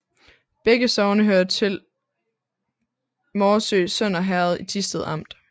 Begge sogne hørte til Morsø Sønder Herred i Thisted Amt